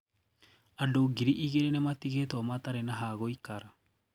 Andũ ngirĩ igĩrĩ nĩmatĩgĩtuo matarĩ na hagũikara.